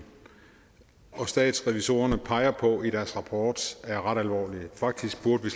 og statsrevisorerne peger på i deres rapport er ret alvorlige faktisk burde